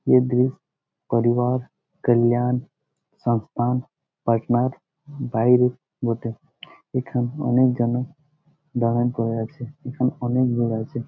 এই দৃশ্য পরিবার কল্যাণ সংস্থান পাটনার বাইরে বটে। এখানে অনেক জনের দালান পড়ে আছে। এখানে অনেক আছে।